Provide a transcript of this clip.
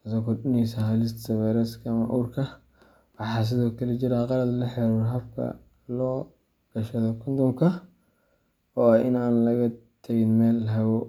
taasoo kordhinaysa halista fayrasyada ama uurka. Waxaa sidoo kale jiro khalad la xiriira habka loo gashado kondhomka, oo ah in aan laga tagin meel hawo.